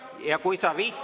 Ja kui sa …